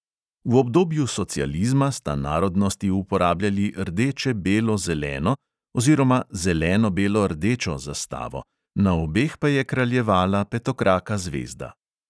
V obdobju socializma sta narodnosti uporabljali rdeče-belo-zeleno oziroma zeleno-belo-rdečo zastavo, na obeh pa je kraljevala petokraka zvezda.